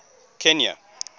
kenya